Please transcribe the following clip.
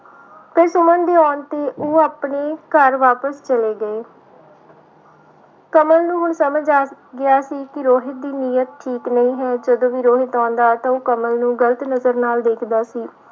ਤੇ ਸੁਮਨ ਦੇ ਆਉਣ ਤੇ ਉਹ ਆਪਣੇ ਘਰ ਵਾਪਿਸ ਚਲੇ ਗਏ ਕਮਲ ਨੂੰ ਹੁਣ ਸਮਝ ਆ ਗਿਆ ਸੀ ਕਿ ਰੋਹਿਤ ਦੀ ਨੀਯਤ ਠੀਕ ਨਹੀਂ ਹੈ ਜਦੋਂ ਵੀ ਰੋਹਿਤ ਆਉਂਦਾ ਤਾਂ ਉਹ ਕਮਲ ਨੂੰ ਗ਼ਲਤ ਨਜ਼ਰ ਨਾਲ ਵੇਖਦਾ ਸੀ।